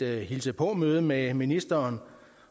hilse på møde med ministeren